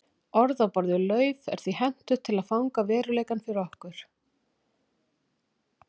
Orð á borð við lauf er því hentugt til að fanga veruleikann fyrir okkur.